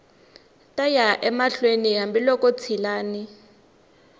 ta ya mahlweni hambiloko ntshilani